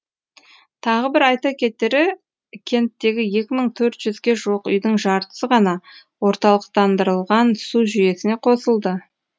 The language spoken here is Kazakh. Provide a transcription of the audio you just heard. тағы бір айта кетері кенттегі екі мың төрт жүзге жуық үйдің жартысы ғана орталықтандырылған су жүйесіне қосылды